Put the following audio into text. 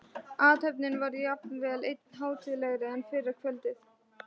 Athöfnin var jafnvel enn hátíðlegri en fyrra kvöldið.